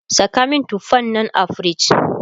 Saka min tufan nan a fridge!